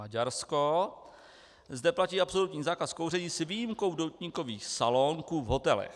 Maďarsko Zde platí absolutní zákaz kouření s výjimkou doutníkových salónků v hotelech.